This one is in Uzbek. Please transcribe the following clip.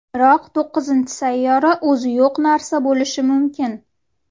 Biroq to‘qqizinchi sayyora o‘zi yo‘q narsa bo‘lishi mumkin.